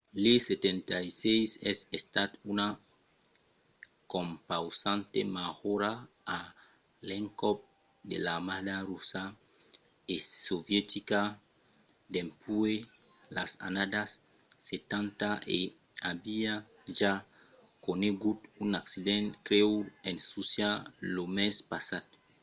l’il-76 es estat una compausanta majora a l'encòp de l’armada russa e sovietica dempuèi las annadas setanta e aviá ja conegut un accident grèu en russia lo mes passat